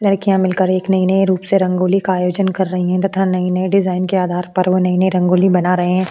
लड़कियां मिलकर एक नए नए रूप से रंगोली का आयोजन कर रही है तथा नए नए डिज़ाइन के आधार पर वो नए नए रंगोली बना रहे है।